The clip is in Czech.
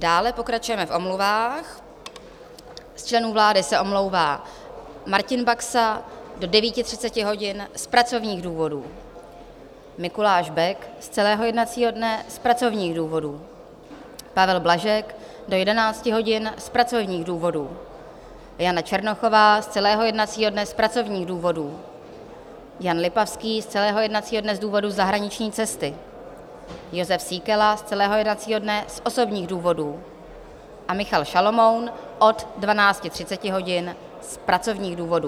Dále pokračujeme v omluvách: z členů vlády se omlouvá Martin Baxa do 9.30 hodin z pracovních důvodů, Mikuláš Bek z celého jednacího dne z pracovních důvodů, Pavel Blažek do 11 hodin z pracovních důvodů, Jana Černochová z celého jednacího dne z pracovních důvodů, Jan Lipavský z celého jednacího dne z důvodu zahraniční cesty, Jozef Síkela z celého jednacího dne z osobních důvodů a Michal Šalomoun od 12.30 hodin z pracovních důvodů.